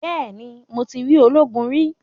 Bẹ́ẹ̀ni, mo ti rí ológun rí.